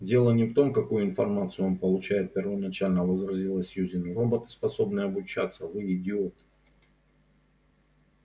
дело не в том какую информацию он получает первоначально возразила сьюзен роботы способны обучаться вы идиот